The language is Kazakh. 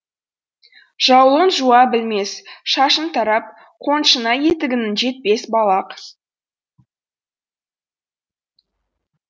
жаулығын жуа білмес шашын тарап қоншына етігінің жетпес балақ